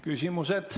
Küsimused.